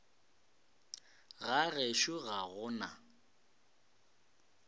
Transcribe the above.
ga gešo ga go na